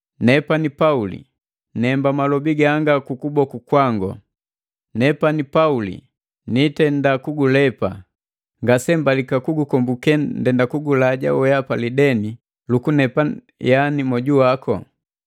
Nepani Pauli nemba malobi ganga kwa ku kuboku kwangu: Nepani Pauli niitenda kugulepa! Ngasembalika kugukombuke ndenda kugulaja wehapa lideni lukunilepa yani moju waku.